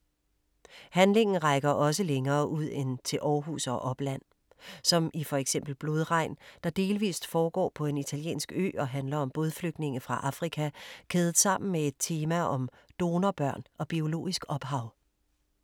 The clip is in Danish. Handlingen rækker også længere ud end til Aarhus og opland. Som i for eksempel Blodregn, der delvist foregår på en italiensk ø og handler om bådflygtninge fra Afrika kædet sammen med et tema om donorbørn og biologisk ophav.